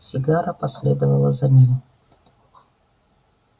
сигара последовала за ним